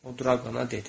O Draqona dedi.